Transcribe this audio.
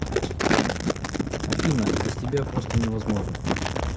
афина без тебя просто невозможно